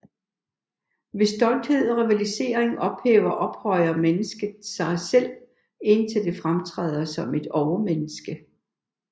Ved stolthed og rivalisering hæver eller ophøjer mennesket sig selv indtil det fremtræder som et overmenneske